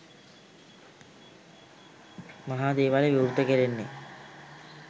මහා දේවාලය විවෘත කෙරෙන්නේ